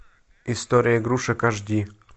история игрушек аш ди